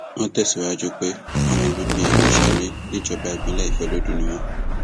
wọn tẹsíwájú pé ọmọ bíbí ìlú ṣare níjọba ìbílẹ ìfọlọdún ni àwọn